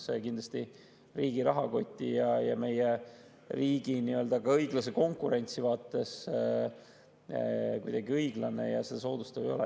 See kindlasti riigi rahakoti ja ka meie riigi õiglase konkurentsi vaates kuidagi õiglane ja seda soodustav ei ole.